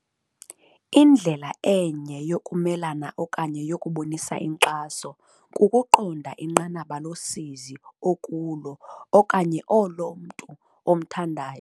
"Indlela enye yokumelana okanye yokubonisa inkxaso kukuqonda inqanaba losizi okulo okanye olo umntu omthandayo ajongene nalo."